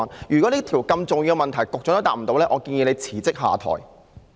如果連這個如此重要的問題，局長也答不到，我建議他辭職下台。